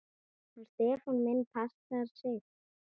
Hann Stefán minn passar sig.